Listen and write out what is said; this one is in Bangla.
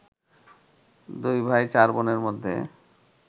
দুই ভাই চার বোনের মধ্যে